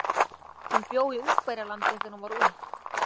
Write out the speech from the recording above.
Hún bjó í Ungverjalandi þegar hún var ung.